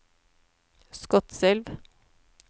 Skotselv